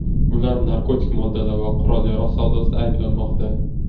Ular narkotik moddalar va qurol-yarog‘ savdosida ayblanmoqda.